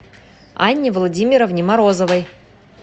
анне владимировне морозовой